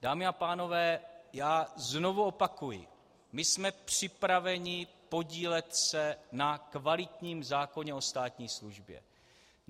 Dámy a pánové, já znovu opakuji, my jsme připraveni podílet se na kvalitním zákoně o státní službě.